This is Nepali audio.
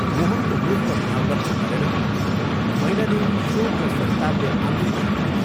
मोहनको मुख र भाव लक्ष्य गरेर मैनादेवी शोक र सन्तापले आकुल भइन्।